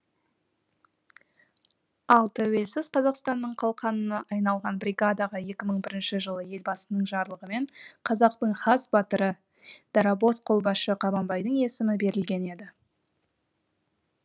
ал тәуелсіз қазақстанның қалқанына айналған бригадаға екі мың бірінші жылы елбасының жарлығымен қазақтың хас батыры дарабоз қолбасшы қабанбайдың есімі берілген еді